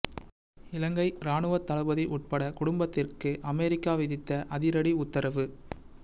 இலங்கை இராணுவத் தளபதி உட்பட குடும்பத்திற்கு அமெரிக்கா விதித்த அதிரடி உத்தரவு